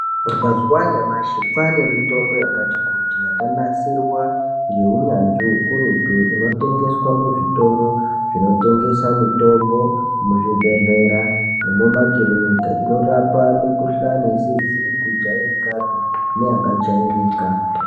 Mazuwa anyamashi kwaane mitombo yakati kuti yakanasirwa ngeunyanzvi ukurutu inotengeswa muzvitoro zvinotengesa mitombo muzvibhedhlera nemumakiriniki inorapa mikuhlani isizi kujairikapi neyakajairika.